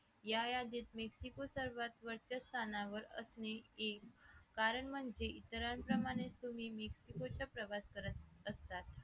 या या बिझनेस सर्वात वर्चस्व स्थानावर असणे हे कारण म्हणजे इतरांप्रमाणेच प्रवास करत असतात